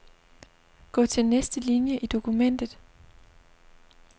Gå til næste linie i dokumentet.